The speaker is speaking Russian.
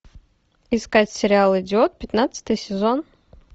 искать сериал идиот пятнадцатый сезон